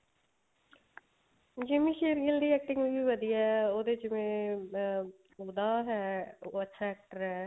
Jimmy Shergill ਦੀ acting ਵੀ ਵਧੀਆ ਉਹਦੇ ਜਿਵੇਂ ਅਮ ਉਹਦਾ ਹੈ ਅੱਛਾ actor ਹੈ